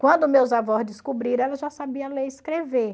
Quando meus avós descobriram, ela já sabia ler e escrever.